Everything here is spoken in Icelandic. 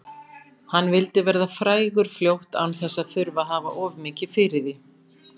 Hann vildi verða frægur fljótt án þess að þurfa að hafa of mikið fyrir því.